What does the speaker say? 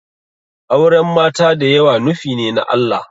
Auren mata da yawa nufine na Allah